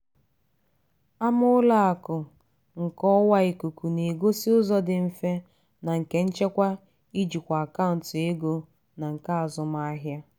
ama ụlọ akụ nke ọwa ikuku na-egosị ụzọ dị mfe na nke nchekwa ijikwa akaụntụ ego na nke azụmahịa.